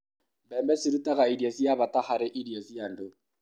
mbembe cirutaga irio cia bata harī irio cia andū